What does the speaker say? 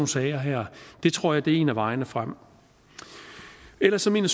sager her det tror jeg er en af vejene frem ellers mener